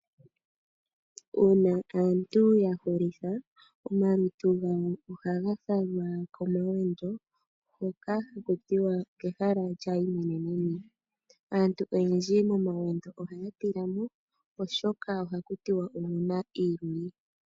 Uuna aantu ya hulitha omalutu gawo ohaga falwa komawendo hoka haku tiwa okehala lyaayimweneneni. Aantu oyendji momawendo ohaya tila mo oshoka oha ku tiwa omuna iiluli.